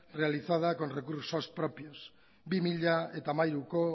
realizada con recursos propios bi mila hamairuko